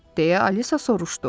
Deyə Alisa soruşdu.